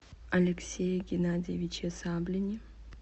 алексее геннадьевиче саблине